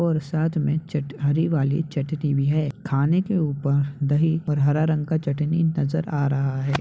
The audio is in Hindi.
और साथ में चट हरी वाली चटनी भी है। खाने के ऊपर दही पर हरा रंग का चटनी नजर आ रहा है।